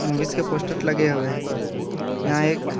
movies के posters लगे हुए हैं यहां एक --